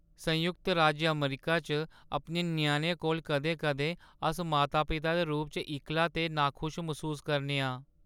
संयुक्त राज्य अमरीका च अपने ञ्याणें कोल, कदें-कदें अस माता-पिता दे रूप च इक्कला ते नाखुश मसूस करने आं।